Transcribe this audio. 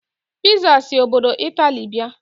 Piza si obodo Italy bịa.